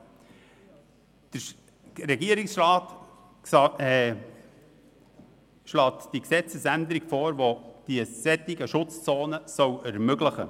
Der Regierungsrat schlägt die Gesetzesänderung für die Einrichtung solcher Schutzzonen vor.